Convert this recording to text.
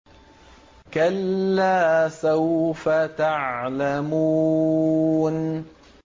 كَلَّا سَوْفَ تَعْلَمُونَ